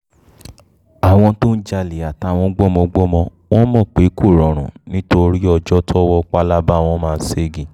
àwọn um tó ń jalè gan-an àtàwọn gbọ́mọgbọ́mọ wọn mọ̀ pé kò rọrùn nítorí ọjọ́ tọ́wọ́ pábala um wọn bá máa ṣẹ́gi